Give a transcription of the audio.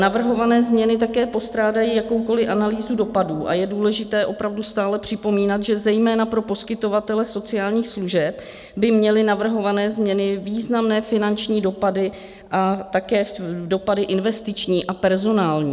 Navrhované změny také postrádají jakoukoliv analýzu dopadů a je důležité opravdu stále připomínat, že zejména pro poskytovatele sociálních služeb by měly navrhované změny významné finanční dopady a také dopady investiční a personální.